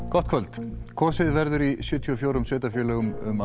gott kvöld kosið verður í sjötíu og fjórum sveitarfélögum um